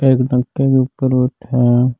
एक कर बैठा है।